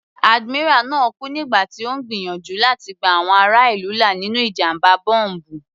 Admiral náà kú nígbà tí Ó ń gbìyànjú láti gba àwọn ará ìlú là nínú ìjàmbá bọ́m̀bù.